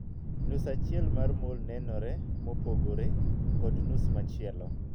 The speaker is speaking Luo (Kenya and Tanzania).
Nus achiel mar 'mole' nenore mopogore kod nus machielo.